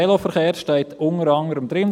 Veloverkehr steht unter anderem: